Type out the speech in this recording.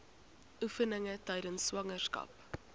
oefeninge tydens swangerskap